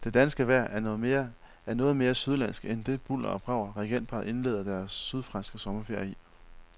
Det danske vejr er noget mere sydlandsk end det bulder og brag, regentparret indleder deres sydfranske sommerferie i.